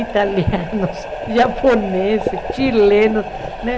italianos, japoneses, chilenos, né?